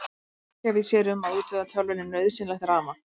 Aflgjafi sér um að útvega tölvunni nauðsynlegt rafmagn.